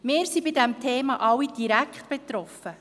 Wir sind von diesem Thema alle direkt betroffen.